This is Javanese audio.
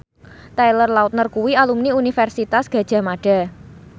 Taylor Lautner kuwi alumni Universitas Gadjah Mada